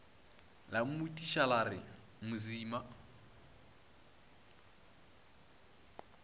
la mmotšiša la re mosima